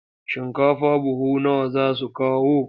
Shinkafa buhu nawa za su kawo?